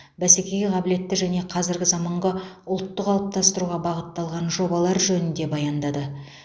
бәсекеге қабілетті және қазіргі заманғы ұлтты қалыптастыруға бағытталған жобалар жөнінде баяндады